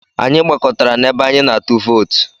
Anyị gbakọtara n'ebe anyị na-atụ vootu.